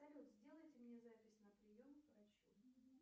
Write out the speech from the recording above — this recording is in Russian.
салют сделайте мне запись на прием к врачу